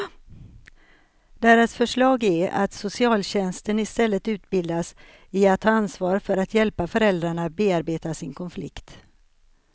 Deras förslag är att socialtjänsten istället utbildas i att ta ansvar för att hjälpa föräldrarna bearbeta sin konflikt.